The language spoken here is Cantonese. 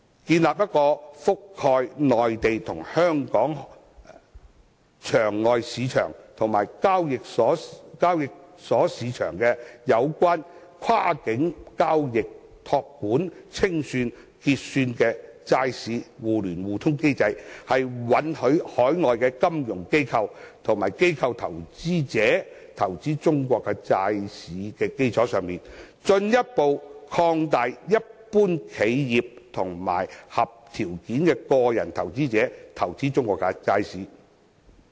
建立一個覆蓋內地和香港場外市場和交易所市場，跨境交易、託管、清算和結算的債市互聯互通機制，在允許海外金融機構和機構投資者投資中國債市的基礎上，進一步擴大一般企業和合條件的個人投資者投資中國債市。